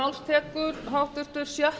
hæstvirtur forseti ég fagna því að